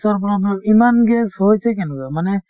ৰ problem ইমান gas হৈছে কেনেকুৱা মানে